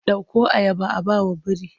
Ɗauko ayaba a ba wa biri!